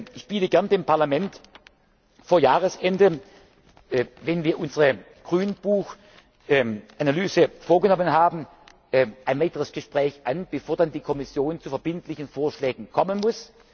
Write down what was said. sein wird. Ich biete gern dem Parlament vor Jahresende, wenn wir unsere Grünbuchanalyse vorgenommen haben, ein weiteres Gespräch an, bevor dann die Kommission zu verbindlichen Vorschlägen